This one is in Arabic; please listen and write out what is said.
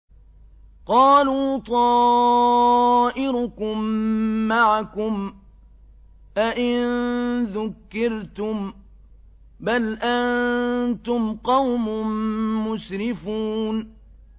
قَالُوا طَائِرُكُم مَّعَكُمْ ۚ أَئِن ذُكِّرْتُم ۚ بَلْ أَنتُمْ قَوْمٌ مُّسْرِفُونَ